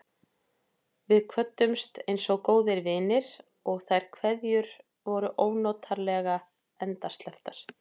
Við kvöddumst einsog góðir vinir, og þær kveðjur voru ónotalega endasleppar.